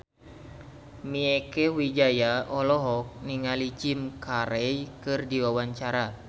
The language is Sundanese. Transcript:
Mieke Wijaya olohok ningali Jim Carey keur diwawancara